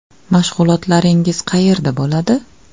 Mashg‘ulotlaringiz qayerda bo‘ladi?